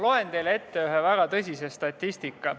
Loen teile ette ühe väga tõsise statistika.